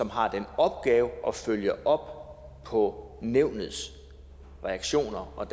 har den opgave at følge op på nævnets reaktioner og